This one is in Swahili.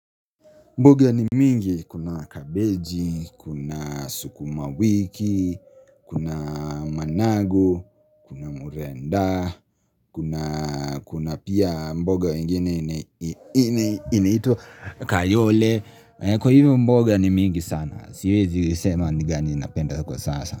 Mboga ni mingi kuna kabeji, kuna sukuma wiki, kuna managu, kuna murenda, kuna pia mboga ingine inaitwa kayole. Kwa hivyo mboga ni mingi sana, siwezi isema ni gani ninapenda kwa sasa.